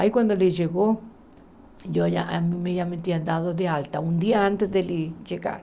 Aí quando ele chegou, eu já me tinha dado de alta, um dia antes dele chegar.